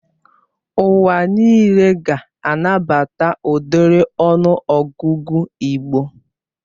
Ụwa nịle ga-anabata ụdiri ọnụ ọgụgụ igbo